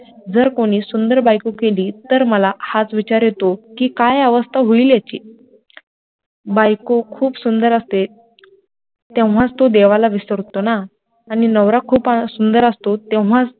जर कोणी सुंदर बायको केली, तर मला हाच विचार येतो कि काय अवस्था होईल याची, बायको खूप सुंदर असते तेव्हाच तो देवाला विसरतो ना आणि नवरा खूप सुंदर असतो तेव्हा